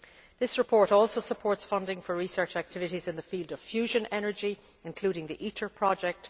This report also supports funding for research activities in the field of fusion energy, including the ITER project.